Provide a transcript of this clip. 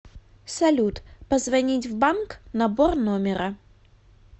салют позвонить в банк набор номера